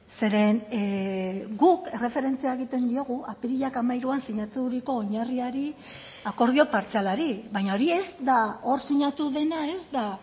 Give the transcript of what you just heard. zeren guk erreferentzia egiten diogu apirilak hamairuan sinaturiko oinarriari akordio partzialari baina hori ez da hor sinatu dena ez da